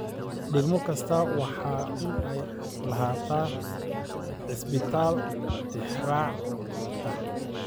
Degmo kasta waa inay lahaataa cisbitaal tixraac ah.